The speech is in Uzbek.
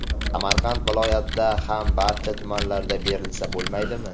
Samarqand viloyatida ham barcha tumanlarda berilsa bo‘lmaydimi?”.